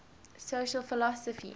social philosophy